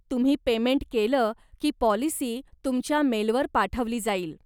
तुम्ही पेमेंट केलं की पॉलिसी तुमच्या मेलवर पाठवली जाईल.